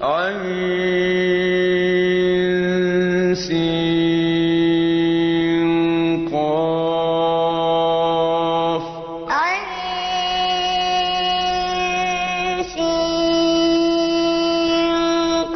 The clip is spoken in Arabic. عسق